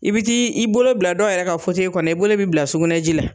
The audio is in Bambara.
I bi ti i bolo bila dɔw yɛrɛ ka kɔnɔ i bolo bi bila sugɛnɛ ji la